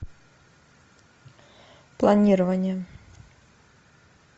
планирование